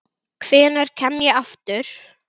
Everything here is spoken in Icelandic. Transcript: Hvenær kem ég aftur?